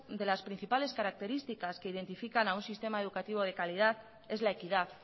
de las principales características que identifican a un sistema educativo de calidad es la equidad